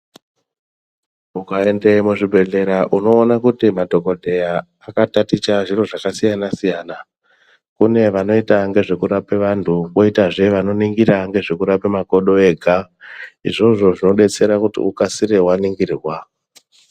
Ukaende muzvibhedhleya unoone kuti madhokodheya akataticha zvakasiyana siyana kune vanoita ngezvekurape vantu koitazve vanoita ngezvekurape makodo ega izvozvo zvodetsera kuti ukasire waningirwa.